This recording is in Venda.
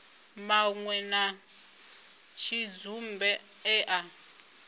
manwe a tshidzumbe e a